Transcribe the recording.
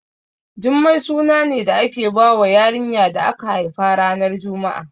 Jummai suna ne da ake bawa yarinya da aka haifa ranar juma'a